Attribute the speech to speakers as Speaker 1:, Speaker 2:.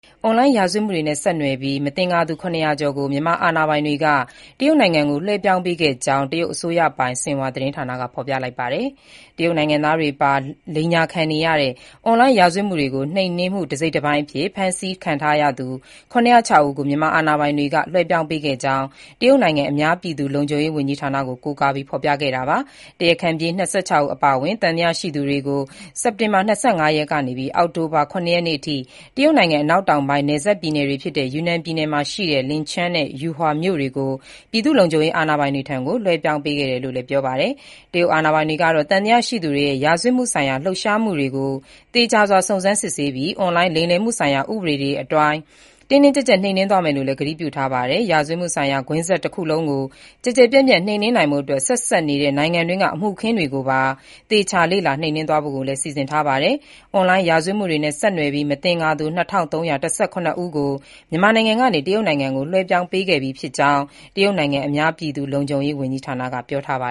Speaker 1: အွန်လိုင်းရာဇဝတ်မှုတွေနဲ့ ဆက်နွယ်ပြီး မသင်္ကာသူ ၇၀၀ ကျော်ကို မြန်မာအာဏာပိုင်တွေက တရုတ်နိုင်ငံကို လွှဲပြောင်းပေးခဲ့ကြောင်း အစိုးရပိုင် ဆင်ဟွာသတင်းက ဖော်ပြလိုက်ပါတယ်။ တရုတ်နိုင်ငံသားတွေပါ လိမ်ညာခံနေရတဲ့ အွန်လိုင်းရာဇဝတ်မှုတွေကို နှိမ်နင်းမှု တစိတ်တပိုင်းအဖြစ် ဖမ်းဆီးထားသူ ၇၀၆ ဦးကို မြန်မာအာဏာပိုင်တွေက လွှဲပြောင်းပေးခဲ့ကြောင်း တရုတ်နိုင်ငံ အများပြည်သူလုံခြုံရေး ဝန်ကြီးဌာနကို ကိုးကားပြီး ဖော်ပြခဲ့တာပါ။ တရားခံပြေး ၂၆ ဦး အပါအဝင် သံသယရှိသူတွေကို စက်တင်ဘာ ၂၅ ရက်မှ အောက်တိုဘာ ၇ ရက်အထိ တရုတ်နိုင်ငံ အနောက်တောင်ပိုင်း နယ်စပ်ပြည်နယ်ဖြစ်တဲ့ ယူနန်ပြည်နယ် Lincang နဲ့ Pu'er မြို့တွေရှိ ပြည်သူ့လုံခြုံရေး အာဏာပိုင်တွေထံကို လွှဲပြောင်းပေးခဲ့တာလို့လည်း ပြောပါတယ်။ တရုတ်အာဏာပိုင်တွေကတော့ သံသယရှိသူတွေရဲ့ ရာဇဝတ်မှုဆိုင်ရာ လှုပ်ရှားမှုတွေကို သေချာစွာစုံစမ်းစစ်ဆေးပြီး အွန်လိုင်း လိမ်လည်မှုဆိုင်ရာ ဥပဒေတွေအတိုင်း တင်းတင်းကျပ်ကျပ် နှိမ်နင်းသွားမယ်လို့ ကတိပြုထားပါတယ်။ ရာဇဝတ်မှုဆိုင်ရာ ကွင်းဆက်တခုလုံးကို ကျယ်ကျယ်ပြန့်ပြန့် နှိမ်နင်းနိုင်ဖို့အတွက် ဆက်စပ်နေတဲ့ နိုင်ငံတွင်းက အမှုအခင်းတွေကိုပါ သေချာလေ့လာ နှိမ်နင်းသွားဖို့ကိုလည်း စီစဉ်ထားပါတယ်။ အွန်လိုင်းရာဇဝတ်မှုတွေနဲ့ ဆက်နွယ်ပြီး မသင်္ကာသူ ၂၃၁၇ ဦးကို မြန်မာနိုင်ငံကနေ တရုတ်နိုင်ငံကို လွှဲပြောင်းပေးခဲ့ပြီးကြောင်း တရုတ်နိုင်ငံ အများပြည်သူလုံခြုံရေး ဝန်ကြီးဌာနကပြောပါ